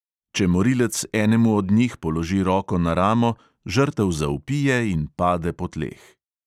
Če morilec enemu od njih položi roko na ramo, žrtev zavpije in pade po tleh.